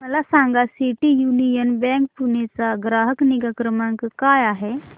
मला सांगा City Union Bank Pune चा ग्राहक निगा क्रमांक काय आहे